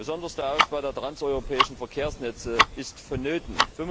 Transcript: Besonders der Ausbau der transeuropäischen Verkehrsnetze ist vonnöten.